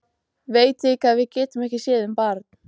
Veit líka að við getum ekki séð um barn.